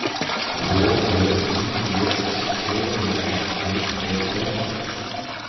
H Ø Y E S T E R E T T